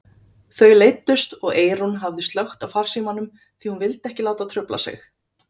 Þau leiddust og Eyrún hafði slökkt á farsímanum því hún vildi ekki láta trufla sig.